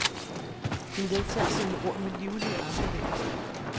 Hun ledsager sine ord med livlige armbevægelser.